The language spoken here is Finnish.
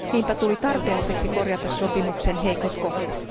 Niinpä tuli tarpeelliseksi korjata sopimuksen heikot kohdat.